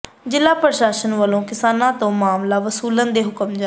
ਜ਼ਿਲ੍ਹਾ ਪ੍ਰਸ਼ਾਸਨ ਵੱਲੋਂ ਕਿਸਾਨਾਂ ਤੋਂ ਮਾਮਲਾ ਵਸੂਲਣ ਦੇ ਹੁਕਮ ਜਾਰੀ